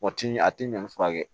O ti a ti ɲɔn furakɛ